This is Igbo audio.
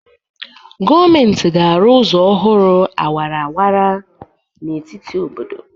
Gọọmenti ga-arụ ụzọ ọhụrụ awara awara n'etiti obodo